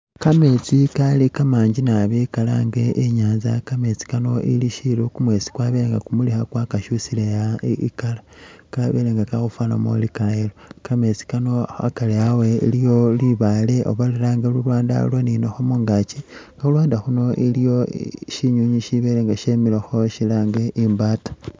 Kameetsi kali kamangi naabi kalange inyatsa kameesi kano ili shilo kumweesi kwabelenga kumulisa kwakakyusile i'colour kabelenga kalikhufanamo ing ka yellow, kameetsi kano hakari hawe iliyo libale oba lulwanda lulwaninakho mungaki khulwanda khuno iliyo shinyunyi shibelenga shimilekho shilage uri imbata.